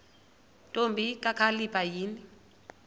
ntombi kakhalipha yini